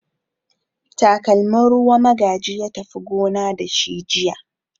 Takalmin ruwa Magaji ya tafi gona da shi jiya.